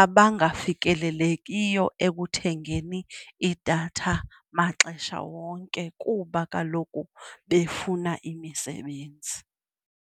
abangafikeleliyo ekuthengeni iidatha maxesha wonke kuba kaloku befuna imisebenzi.